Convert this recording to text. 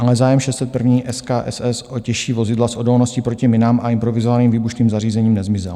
Ale zájem 601. skss o těžší vozidla s odolností proti minám a improvizovaným výbušným zařízením nezmizel.